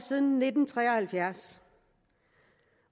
siden nitten tre og halvfjerds